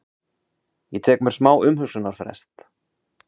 Ég tek mér smá umhugsunarfrest.